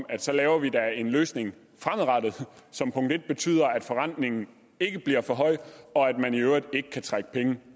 at så laver vi da en løsning fremadrettet som betyder at forrentningen ikke bliver for høj og at man i øvrigt ikke kan trække penge